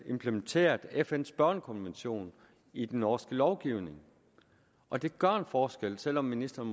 implementeret fn’s børnekonvention i den norske lovgivning og det gør en forskel selv om ministeren